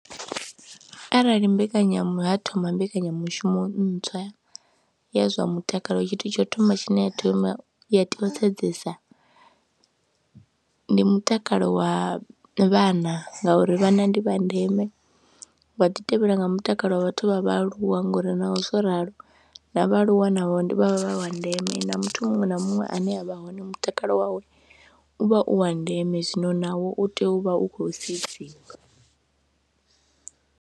Arali mbekanyamushumo ha thoma mbekanyamushumo ntswa ya zwa mutakalo tshithu tsho thoma tshine ya tea u sedzesa ndi mutakalo wa vhana ngauri vhanna ndi vha ndeme, wa ḓi tevhela nga mutakalo wa vhathu vha vhaaluwa ngauri naho zwo ralo na vhaaluwa na wa vha wa ndeme na muthu muṅwe na muṅwe ane a vha hone mutakalo wawe u vha u wa ndeme, zwino nawo u tea u vha u khou sedziwa.